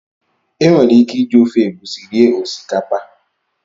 E nwere ike iji ofe egusi rie osikapa